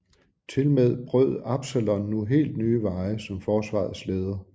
Tilmed brød Absalon nu helt ny veje som forsvarets leder